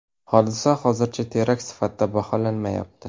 Hodisa hozircha terakt sifatida baholanmayapti.